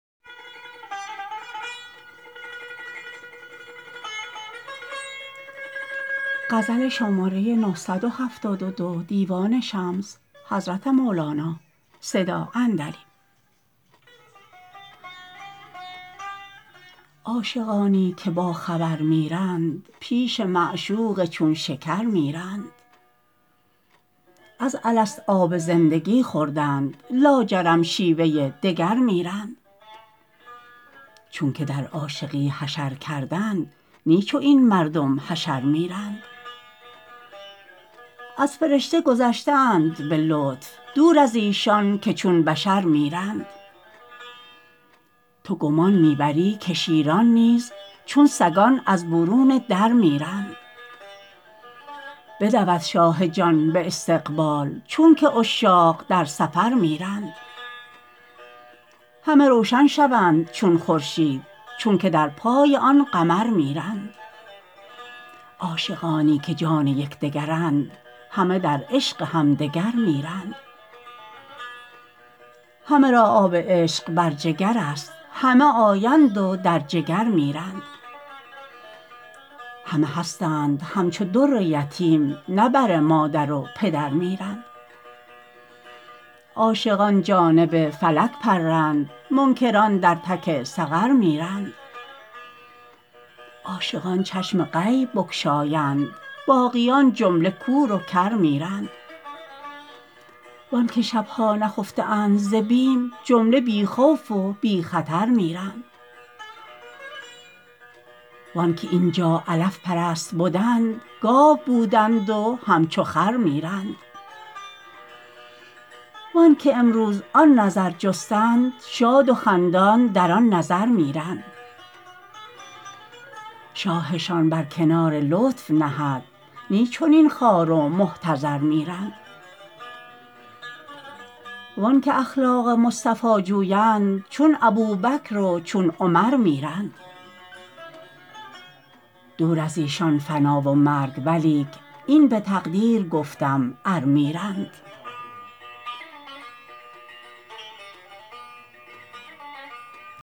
عاشقانی که باخبر میرند پیش معشوق چون شکر میرند از الست آب زندگی خوردند لاجرم شیوه دگر میرند چونک در عاشقی حشر کردند نی چو این مردم حشر میرند از فرشته گذشته اند به لطف دور از ایشان که چون بشر میرند تو گمان می بری که شیران نیز چون سگان از برون در میرند بدود شاه جان به استقبال چونک عشاق در سفر میرند همه روشن شوند چون خورشید چونک در پای آن قمر میرند عاشقانی که جان یک دگرند همه در عشق همدگر میرند همه را آب عشق بر جگر است همه آیند و در جگر میرند همه هستند همچو در یتیم نه بر مادر و پدر میرند عاشقان جانب فلک پرند منکران در تک سقر میرند عاشقان چشم غیب بگشایند باقیان جمله کور و کر میرند و آنک شب ها نخفته اند ز بیم جمله بی خوف و بی خطر میرند و آنک این جا علف پرست بدند گاو بودند و همچو خر میرند و آنک امروز آن نظر جستند شاد و خندان در آن نظر میرند شاهشان بر کنار لطف نهد نی چنین خوار و محتضر میرند و انک اخلاق مصطفی جویند چون ابوبکر و چون عمر میرند دور از ایشان فنا و مرگ ولیک این به تقدیر گفتم ار میرند